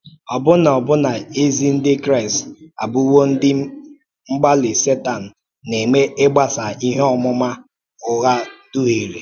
Ọbụna Ọbụna ezi Ndị Kraịst abụwo ndị mgbalị Sétan na-eme ịgbasa ihe ọmụma ụgha dúhìrè.